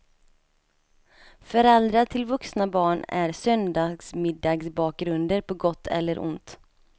Föräldrar till vuxna barn är söndagsmiddagsbakgrunder på gott eller ont.